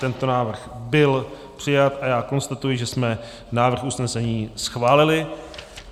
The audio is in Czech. Tento návrh byl přijat a já konstatuji, že jsme návrh usnesení schválili.